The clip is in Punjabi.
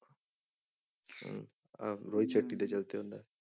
ਅਹ ਰੋਹਿਤ ਸੈਟੀ ਦੇ ਤੇ ਹੁੰਦਾ ਹੈ।